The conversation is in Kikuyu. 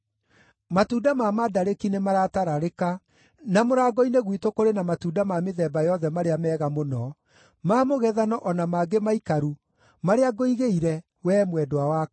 Matunda ma mandarĩki nĩmaratararĩka, na mũrango-inĩ gwitũ kũrĩ na matunda ma mĩthemba yothe marĩa mega mũno, ma mũgethano o na mangĩ maikaru, marĩa ngũigĩire, wee mwendwa wakwa.